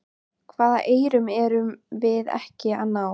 Hvaða eyrum erum við ekki að ná?